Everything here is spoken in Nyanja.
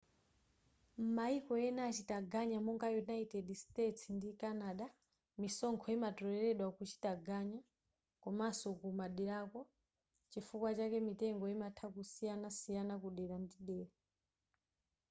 m'mayiko ena achitaganya monga united states ndi canada misonkho imatoleledwa kuchitaganya komanso kumaderako chifukwa chake mitengo imatha kusiyanasiyana kudera ndi dera